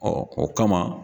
o kama